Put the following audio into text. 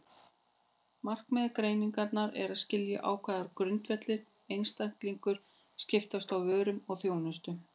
Markmið greinarinnar er að skilja á hvaða grundvelli einstaklingar skiptast á vörum og þjónustu.